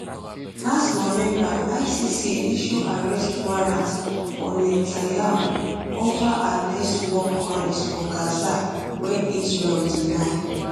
last november icc issue arrest warrant for netanyahu over um alleged um war crimes for gaza wey israel deny